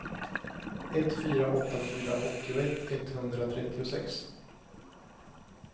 ett fyra åtta fyra åttioett etthundratrettiosex